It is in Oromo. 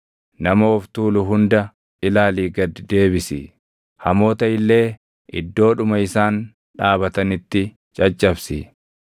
Nama of tuulu hunda ilaalii gad deebisi; hamoota illee iddoodhuma isaan dhaabatanitti caccabsi.